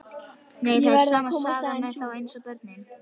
Nei, það er sama sagan með þá eins og börnin.